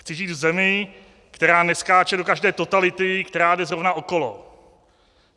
Chci žít v zemi, která neskáče do každé totality, která jde zrovna okolo.